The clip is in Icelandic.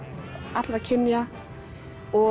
allra kynja og